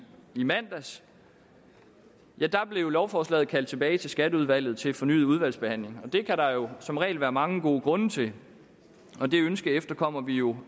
i mandags blev lovforslaget kaldt tilbage til skatteudvalget til fornyet udvalgsbehandling det kan der jo som regel være mange gode grunde til og det ønske efterkommer vi jo